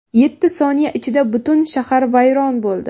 Yetti soniya ichida butun shahar vayron bo‘ldi.